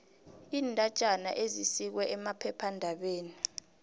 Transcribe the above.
iindatjana ezisikwe emaphephandabeni